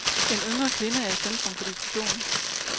En yngre kvinde er i centrum for diskussionen.